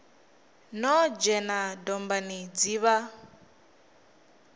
no dzhena dombani dzi vha